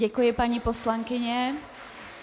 Děkuji, paní poslankyně.